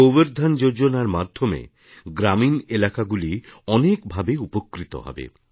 গোবর ধন যোজনার মাধ্যমে গ্রামীণ এলাকাগুলি অনেকভাবে উপকৃত হবে